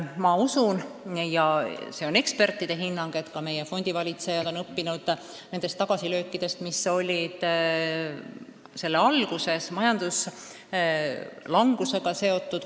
Ma usun ja see on ka ekspertide hinnang, et meie fondivalitsejad on õppinud tagasilöökidest, mis olid kunagise majanduslangusega seotud.